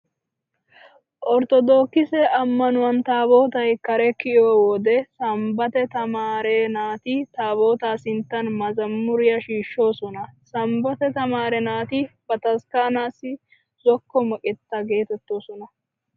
Orttodokise ammanuwan taabootay kare kiyo wode sanbbate tamaare naati taabootaa sinttan mazamuriyaa shiishshoosona. Sanbbate tamaare naati bataskkaanaassi zokko meqetta geetettoosona.